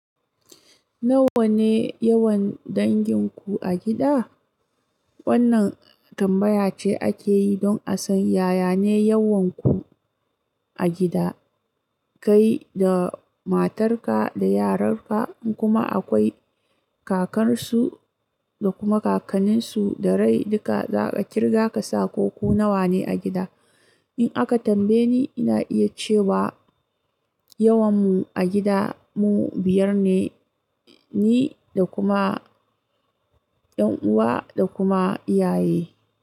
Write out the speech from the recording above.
Nawa ne yawan dangin ku a gida? Wannan tambaya ce ake yi don a san yayane yawanku a gida. Kai da matarka da yaranka kuma akwai kakarsu da kuma kakanninsu da rai duka za a kirga ka sa ko ku nawa ne a gida. In aka tambaye ni, ina iya cewa yawanmu a gida mu biyar ne, ni da kuma ƴan'uwa da kuma iyaye.